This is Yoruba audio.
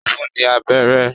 Ó fún ní abẹ́rẹ́